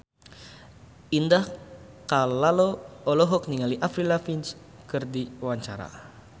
Indah Kalalo olohok ningali Avril Lavigne keur diwawancara